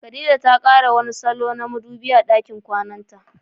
Khadija ta kara wani salo na madubi a dakin kwananta.